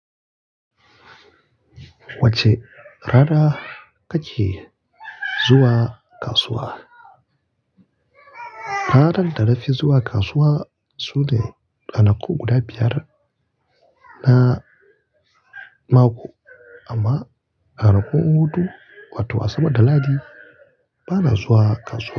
Wacec rana ka ke zuwa kasuwa? Ranan da na fi zuwa kasuwa sune ranaku guda biyar na mako. Amma ranakun hutu, wato Asabar da Lahadi bana zuwa kasuwa.